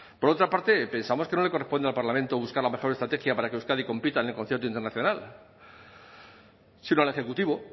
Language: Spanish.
por otra parte pensamos que no le corresponde al parlamento buscar la mejor estrategia para que euskadi compita en el concierto internacional sino al ejecutivo